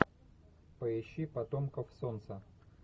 поищи потомков солнца